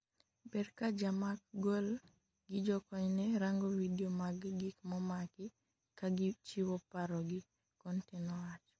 ber ka jamak gol gi jokony ne rango vidio mag gik momaki ka gichiwo paro gi,'Conte nowacho